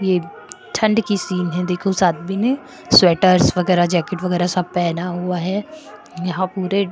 ये ठंड की सीन है देखो उस आदमी ने स्वेटर्स वगैरह जैकेट वगैरह सब पहना हुआ है यहाँ पूरे --